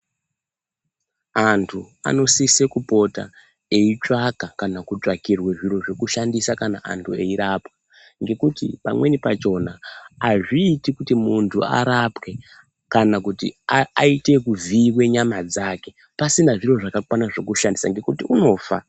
Antu anosise kupota eyitsvaka kana kutsvakirwe zviro zvekushandisa kana antu eyirapwa ngekuti pamweni pachona hazviiti kuti muntu arapwe kana kuti aa aite ekuvhiyiwe nyama dzake pasina zviro zvakakwana zvekushandisa ngekuti unofa.